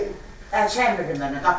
Prosta əl çəkmirdi məndən.